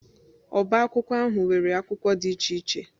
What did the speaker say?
Ọbá akwụkwọ ahụ nwere akwụkwọ dị iche iche